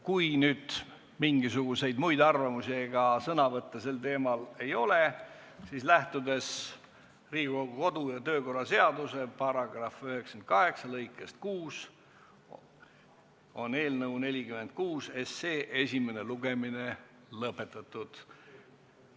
Kui nüüd mingisuguseid muid arvamusi ega sõnavõtte sel teemal ei ole, siis lähtudes Riigikogu kodu- ja töökorra seaduse § 98 lõikest 6, on eelnõu 46 esimene lugemine lõpetatud.